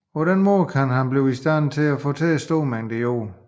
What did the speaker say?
På den måde kan han blive i stand til at fortære store mængder jord